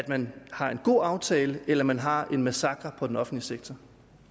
man har en god aftale eller man har en massakre på den offentlige sektor